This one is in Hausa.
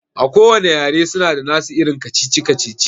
A kowanne yare suna da nasu irin kacici-kacici